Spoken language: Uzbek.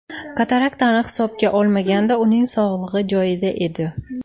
Kataraktani hisobga olmaganda, uning sog‘lig‘i joyida edi.